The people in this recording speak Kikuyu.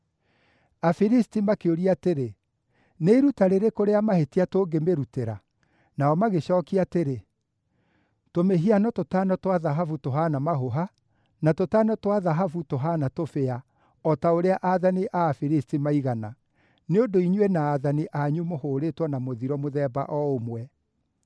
Afilisti makĩũria atĩrĩ, “Nĩ iruta rĩrĩkũ rĩa mahĩtia tũngĩmĩrutĩra?” Nao magĩcookia atĩrĩ, “Tũmĩhiano tũtano twa thahabu tũhaana mahũha, na tũtano twa thahabu tũhaana tũbĩa o ta ũrĩa aathani a Afilisti maigana, nĩ ũndũ inyuĩ na aathani anyu mũhũũrĩtwo na mũthiro mũthemba o ũmwe.